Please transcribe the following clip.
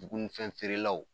Dugunifɛn feerelaw